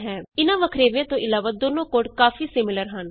ਇਹਨਾਂ ਵੱਖਰੇਵਿਆਂ ਤੋਂ ਇਲਾਵਾ ਦੋਨੋ ਕੋਡ ਕਾਫੀ ਸਿਮੀਲਰ ਹਨ